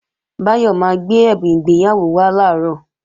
Báyọ̀ máa gbé ẹ̀bùn ìgbéyàwó wá làárọ̀